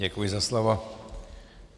Děkuji za slovo.